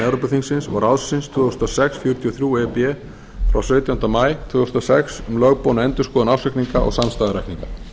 evrópuþingsins og ráðsins tvö þúsund og sex fjörutíu og þrjú e b frá sautjándu maí tvö þúsund og sex um lögboðna endurskoðun ársreikninga og samstæðureikninga